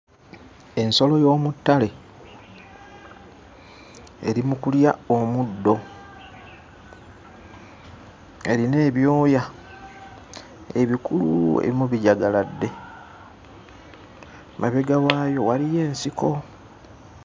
Ensolo y'omuttale eri mu kulya omuddo, erina ebyoya ebikulu ebimu bijagaladde. Emabega waayo waliyo ensiko.